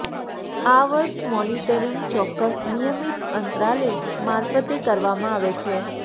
આવર્ત મોનીટરીંગ ચોક્કસ નિયમિત અંતરાલે મારફતે કરવામાં આવે છે